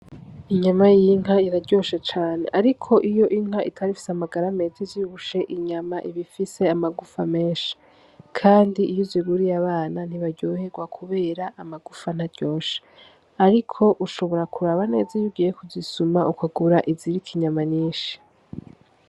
Inyama y'inka iraryoshe cane, ariko inka itaba ifise amagara meza ivyibushe inyama iba ifise amagufa menshi kandi iyo uziguriye abana ntibaryohegwa kubera amagufa ntaryoshe ariko ushobora kuraba neza iyo ugiye kuzisuma ukagura iziriko inyama nyinshi.